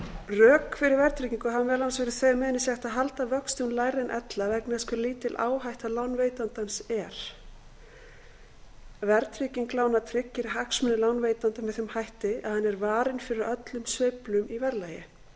rök fyrir verðtryggingu hafa meðal annars verið þau að með henni sé hægt að halda vöxtum lægri en ella vegna þess hve lítil áhætta lánveitandans er verðtrygging lána tryggir hagsmuni lánveitanda með þeim hætti að hann er varinn fyrir öllum sveiflum í verðlagi sá